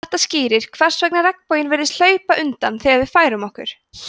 þetta skýrir hvers vegna regnboginn virðist hlaupa undan þegar við færum okkur